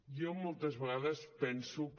jo moltes vegades penso que